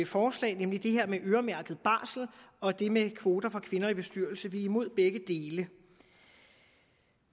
forslag nemlig det her med øremærket barsel og det med kvoter for kvinder i bestyrelser og vi er imod begge dele